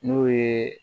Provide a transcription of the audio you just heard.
N'o ye